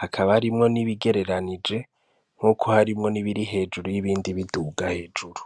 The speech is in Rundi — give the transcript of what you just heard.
hakaba harimwo n'ibigereranije, nkuko harimwo n'ibiri hejuru y'ibindi biduga hejuru.